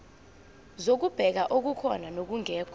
zokubheka okukhona nokungekho